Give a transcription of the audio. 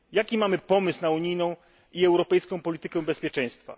Jaki mamy pomysł na unijną i europejską politykę bezpieczeństwa?